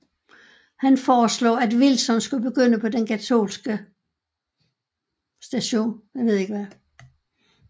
Han foreslog at Wilson skulle begynde på den katolske St